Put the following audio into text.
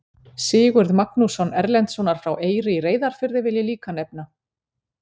Sigurð Magnússon Erlendssonar frá Eyri í Reyðarfirði vil ég líka nefna.